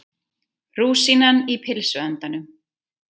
Rúsínan í pylsuendanum